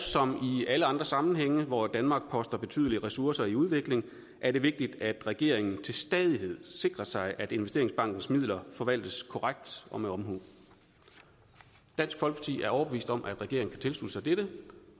som i alle andre sammenhænge hvor danmark poster betydelige ressourcer i udvikling er det vigtigt at regeringen til stadighed sikrer sig at investeringsbankens midler forvaltes korrekt og med omhu dansk folkeparti er overbevist om at regeringen kan tilslutte sig dette